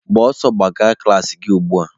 Gbara ọsọ gaba na klaasị gị ugbua!